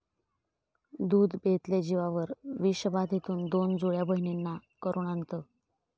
दूध बेतले जीवावर, विषबाधेतून दोन जुळ्या बहिणींना करूण अंत